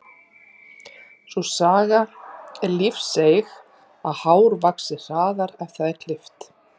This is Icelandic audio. Sú saga er lífseig að hár vaxi hraðar ef það er klippt.